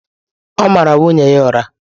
Ọ̀ mara nwunye ya ụra?